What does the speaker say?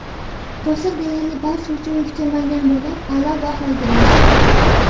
Qo‘shiq deyarli barcha uchun kutilmagan bo‘lib, a’lo bahoga erishdi.